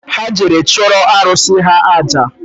Ha jere chụrụ arụsị ha àjà